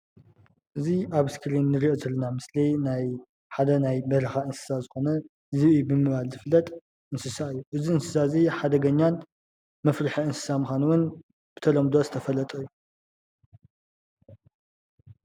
እዚ ኣብ እስክሪን ንርኦ ዘለና ምስሊ ሓደ ናይ በረካ እንስሳ ዝኮነ ዝብኢ ብምባል ዝፍለጥ እንስሳ እዩ። እዚ እንስሳ እዚ ሓደገኛን መፍርሒ እንስሳ ምዃኑ'ውን ብተለምዶ ዝተፈለጠ እዩ።